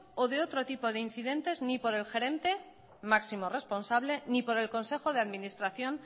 o de otro tipo de incidentes ni por el gerente máximo responsable ni por el consejo de administración